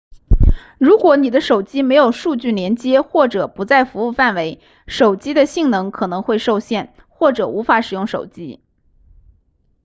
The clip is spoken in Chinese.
如果你的手机没有数据连接或者不在服务范围手机的性能可能会受限或者无法使用手机